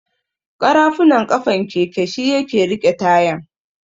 ƙarafunan ƙafan keke shi yake riƙe tayan.